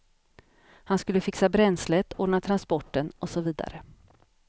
Han skulle fixa bränslet, ordna transporten och så vidare.